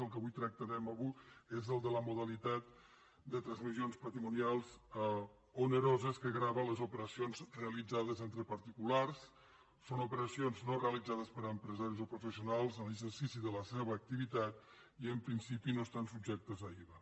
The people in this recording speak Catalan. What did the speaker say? el que tractarem avui és el de la modalitat de transmissions patrimonials oneroses que grava les operacions realitzades entre particulars són operacions no realitzades per empresaris o professionals en l’exercici de la seva activitat i en principi no estan subjectes a iva